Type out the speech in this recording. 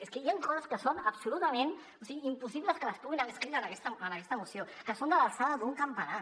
és que hi ha coses que són absolutament impossibles que les puguin haver escrit en aquesta moció que són de l’alçada d’un campanar